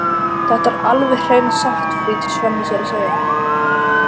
Þetta er alveg hreina satt, flýtir Svenni sér að segja.